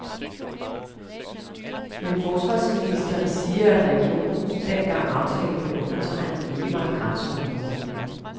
Men forsvarsministeren siger, at regionen, dengang aftalen blev undertegnet, ikke var et grænseområde.